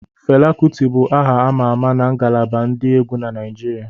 Fela Kuti bụ aha ama ama na ngalaba ndi egwu na Naijiria